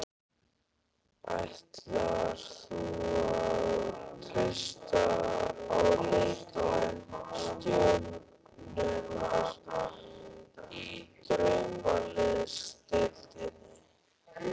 Ætlar þú að treysta á leikmenn stjörnunnar í Draumaliðsdeildinni?